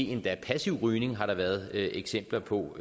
endda passiv rygning har der været eksempler på